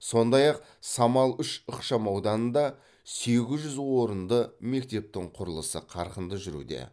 сондай ақ самал үш ықшамауданында сегіз жүз орынды мектептің құрылысы қарқынды жүруде